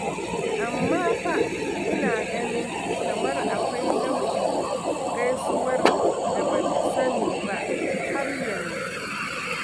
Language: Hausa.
Amma fa ina ganin kamar akwai nau'in gaisuwar da ba ta sani ba har yanzu.